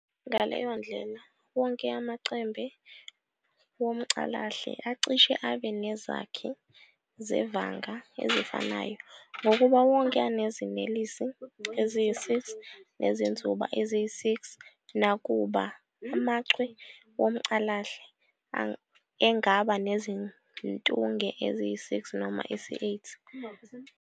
Ngaleyondlela, wonke amaChembe womCalahle acishe abe nezakhi zevanga ezifanayo ngokuba wonke anezinelesi eziyisi-6 nezinzuba eziyisi-6, nakuba amachwe womCalahle engaba nezintunge eziyisi-6 noma isi-8.